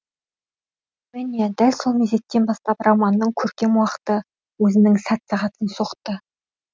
міне дәл сол мезеттен бастап романның көркем уақыты өзінің сәт сағатын соқты